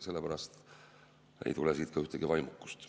Sellepärast ei tule siit ühtegi vaimukust.